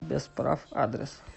без прав адрес